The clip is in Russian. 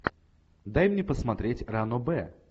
дай мне посмотреть ранобэ